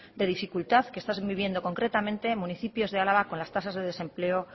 de dificultad que están viviendo concretamente municipios de álava con las tasas de desempleo